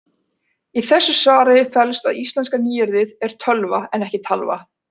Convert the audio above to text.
Í þessu svari felst að íslenska nýyrðið er tölva en ekki talva.